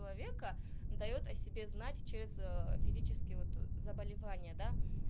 человека даёт о себе знать через физические вот заболевания да